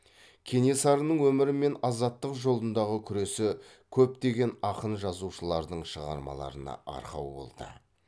кенесарының өмірі мен азаттық жолындағы күресі көптеген ақын жазушылардың шығармаларына арқау болды